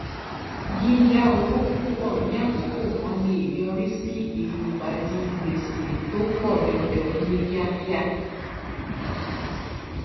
yíya owó púpọ ní àkókò kan lè yọrí sí ilugbàdì gbèsè tó pọ jọjọ ní kíákíá